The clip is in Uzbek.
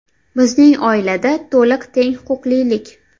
Bizning oilada to‘liq teng huquqlilik.